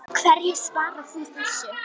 Hverju svarar þú þessu?